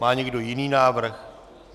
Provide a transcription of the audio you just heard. Má někdo jiný návrh?